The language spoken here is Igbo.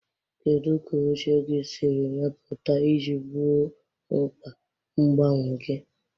Kedu ka oche gị siri mepụta iji gboo mkpa mgbanwe gị?